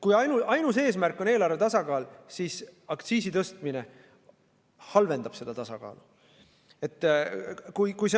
Kui ainus eesmärk on eelarve tasakaal, siis aktsiisi tõstmine halvendab tasakaalu.